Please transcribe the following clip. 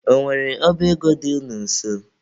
Ọ nwere ọba ego dị unu nso?